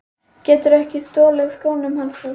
Geturðu ekki stolið skónum hans Fúsa!